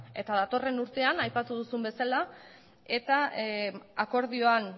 eta datorren urtean aipatu duzun bezala eta akordioan